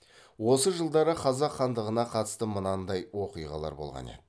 осы жылдары қазақ хандығына қатысты мынандай оқиғалар болған еді